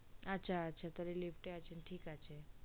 আচ্ছা আচ্ছা ঠিক আছে তালে lift তে আসেন